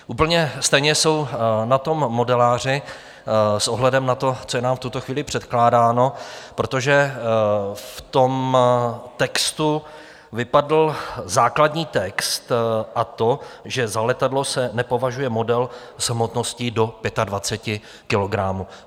Úplně stejně jsou na tom modeláři s ohledem na to, co je nám v tuto chvíli předkládáno, protože v tom textu vypadl základní text, a to, že za letadlo se nepovažuje model s hmotností do 25 kilogramů.